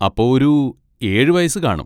അപ്പൊ ഒരു ഏഴ് വയസ്സ് കാണും.